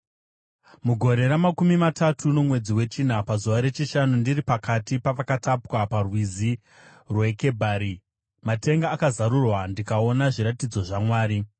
Mugore ramakumi matatu, nomwedzi wechina pazuva rechishanu, ndiri pakati pavakatapwa, paRwizi rweKebhari, matenga akazarurwa, ndikaona zviratidzo zvaMwari.